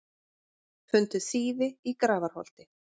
Fundu þýfi í Grafarholti